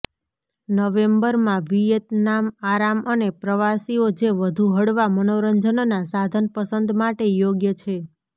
નવેમ્બરમાં વિયેતનામ આરામ અને પ્રવાસીઓ જે વધુ હળવા મનોરંજનના સાધન પસંદ માટે યોગ્ય છે